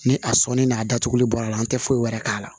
Ni a sɔnn'a datuguli bɔra la an tɛ foyi wɛrɛ k'a la